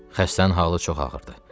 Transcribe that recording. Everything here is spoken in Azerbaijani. Xəstənin halı çox ağırdır.